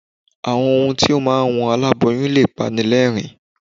Àwọn ohun tí ó máa ń wú aláboyún lè pani lẹ́ẹ̀rín.